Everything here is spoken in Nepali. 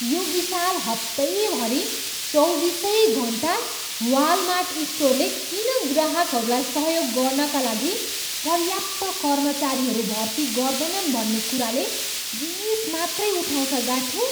यो विशाल हप्तैभरि चौबिसै घन्टा वालमार्ट स्टोरले किन ग्राहकहरूलाई सहयोग गर्नाका लागि पर्याप्त कर्मचारीहरू भर्ती गर्दैन भन्ने कुराले रिस मात्रै उठाउँछ गाठे।